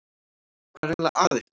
Hvað er eiginlega að ykkur?